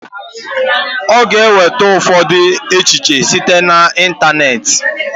Ọ ga-enweta ụfọdụ echiche site na ịntanetị